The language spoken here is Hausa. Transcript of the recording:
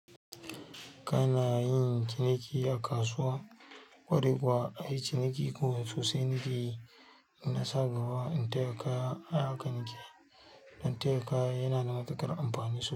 Kana yin ciniki a kasuwa, ƙwarai kusa ai ciniki kuwa sosai nakeyi shi nasa gaba. In tayaka ai haka nake dan taya kaya yana da matuƙar amfani so.